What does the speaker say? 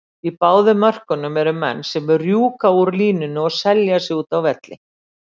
Í báðum mörkunum eru menn sem rjúka úr línunni og selja sig úti á velli.